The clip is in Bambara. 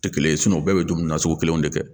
Tɛ kelen ye u bɛɛ bɛ dumuni na sugu kelen de kɛ